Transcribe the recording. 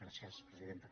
gràcies presidenta